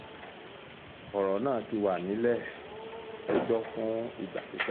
ọ̀rọ̀ náà ti wà nílẹ̀-ẹjọ́ fún ìgbà pípẹ́